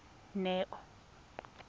neo